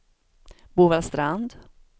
Bovallstrand